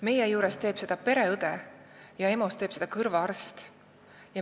Meie juures teeb seda pereõde, aga EMO-s teeb seda kõrvaarst.